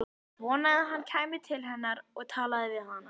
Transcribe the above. Vonaði að hann kæmi til hennar og talaði við hana.